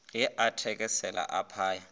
ge a thekesela a phaya